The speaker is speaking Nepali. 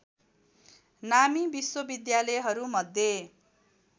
नामी विश्वविद्यालहरूमध्ये